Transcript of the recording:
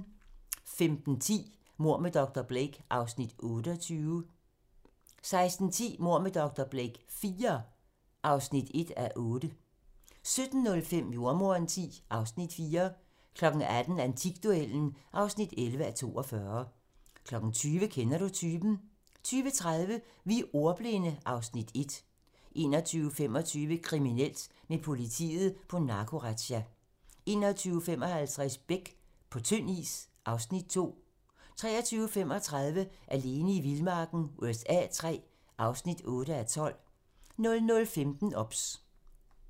15:10: Mord med dr. Blake (Afs. 28) 16:10: Mord med dr. Blake IV (1:8) 17:05: Jordemoderen X (Afs. 4) 18:00: Antikduellen (11:42) 20:00: Kender du typen? 20:30: Vi er ordbildne (Afs. 1) 21:25: Kriminelt: Med politiet på narkorazzia 21:55: Beck - på tynd is (Afs. 2) 23:35: Alene i vildmarken USA III (8:12) 00:15: OBS